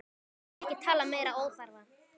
Nú skulum við ekki tala meiri óþarfa!